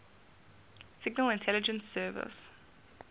signal intelligence service